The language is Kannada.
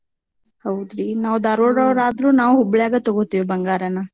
ಹೌದ್ರಿ? ನಾವ್ ದಾರ್ವಾಡೋರ್ ಆದ್ರೂ ನಾವ್ ಹುಬ್ಳ್ಯಾಗ ತಗೋತೀವ್ ಬಂಗಾರನ.